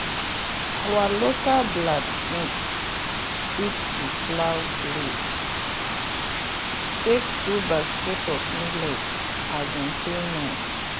our local blacksmith fix the plow blade take two basket of millet as payment.